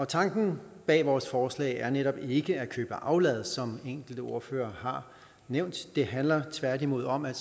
tanken bag vores forslag er netop ikke at købe aflad som enkelte ordførere har nævnt det handler tværtimod om at